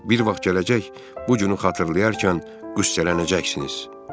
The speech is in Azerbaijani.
Bir vaxt gələcək, bu günü xatırlayarkən qüssələnəcəksiniz.